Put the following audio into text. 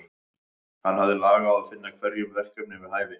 Hann hafði lag á að finna hverjum verkefni við hæfi.